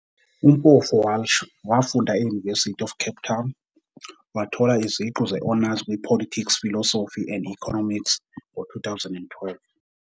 UMpofu-Walsh wafunda e- University of Cape Town, wathola iziqu ze-Honours kwi-Politics Philosophy and Economics ngo-2012.